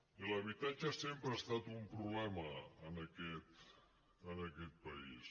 i l’habitatge sempre ha estat un problema en aquest país